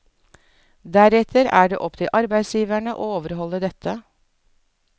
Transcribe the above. Deretter er det opp til arbeidsgiverne å overholde dette.